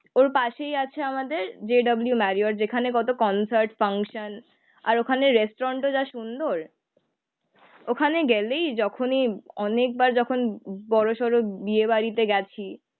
ওর পাশেই আছে আমাদের জে ডব্লিউ মেরিওট, যেখানে কত কনসার্ট, ফাঙ্কশন আর ওখানে রেস্টুরেন্টও যা সুন্দর। ওখানে গেলেই যখনি অনেকবার যখন বড়োসড়ো বিয়ে বাড়িতে গেছি।.